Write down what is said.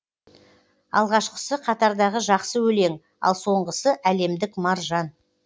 алғашқысы қатардағы жақсы өлең ал соңғысы әлемдік маржан